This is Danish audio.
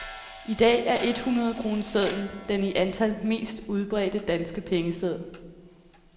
I dag er et hundred kronesedlen den i antal mest udbredte danske pengeseddel.